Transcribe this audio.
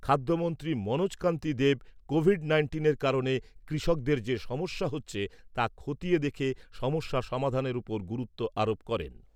খাদ্যমন্ত্রী মনোজ কান্তি দেব কোভিড নাইন্টিনের কারণে কৃষকদের যে সমস্যা হচ্ছে তা খতিয়ে দেখে সমস্যা সমাধানের ওপর গুরুত্ব আরোপ করেন।